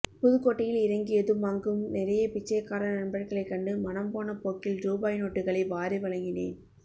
புதுக்கோட்டையில் இறங்கியதும் அங்கும் நிறைய பிச்சைக்கார நண்பர்களைக் கண்டு மனம்போன போக்கில் ரூபாய் நோட்டுகளை வாரி வழங்கினேன்